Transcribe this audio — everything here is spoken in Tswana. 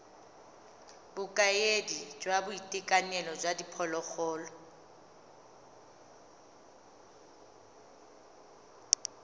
bokaedi jwa boitekanelo jwa diphologolo